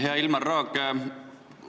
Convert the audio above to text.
Hea Ilmar Raag!